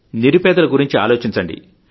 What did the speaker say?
నిరుపేదల గురించి ఆలోచించండి